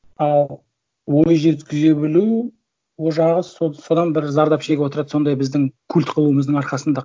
ал ой жеткізе білу ол жағы содан бір зардап шегіп отырады сондай біздің культ қылуымыздың арқасында